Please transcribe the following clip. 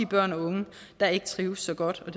børn og unge der ikke trives så godt og